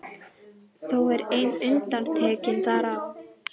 Þó er ein undantekning þar á.